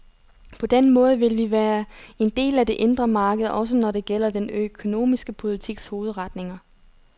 På den måde vil vi være en del af det indre marked, også når det gælder den økonomiske politiks hovedretninger.